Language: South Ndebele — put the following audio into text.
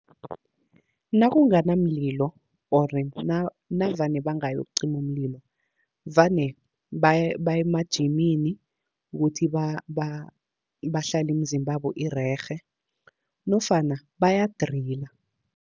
Nakunganamlio or navane bangayokucima umlilo, vane baye emajimini ukuthi bahlale imizimbabo irerhe nofana baya-driller.